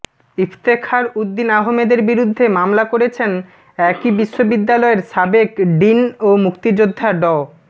ইফতেখার উদ্দিন আহমেদের বিরুদ্ধে মামলা করেছেন একই বিশ্ববিদ্যালয়ের সাবেক ডিন ও মুক্তিযোদ্ধা ড